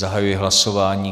Zahajuji hlasování.